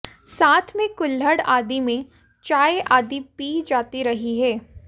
साथ में कुल्हड़ आदि में चाय आदि पी जाती रही है